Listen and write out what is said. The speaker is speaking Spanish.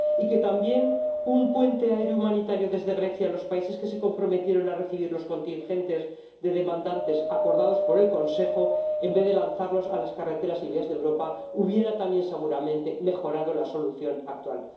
que crear, también, un puente aéreo humanitario desde Grecia a los países que se comprometieron a recibir los contingentes de solicitantes acordados por el Consejo, en vez de lanzarlos a las carreteras y vías de Europa, habría también, seguramente, mejorado la solución actual.